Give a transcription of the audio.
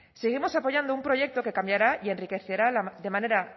seguimos apoyando un proyecto que cambiará y enriquecerá de manera